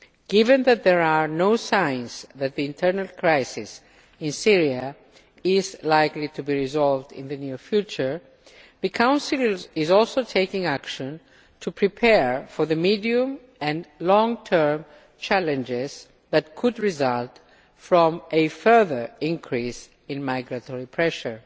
Given that there are no signs that the internal crisis in Syria is likely to be resolved in the near future, the Council is also taking action to prepare for the medium and long term challenges which could result from a further increase in migratory pressure.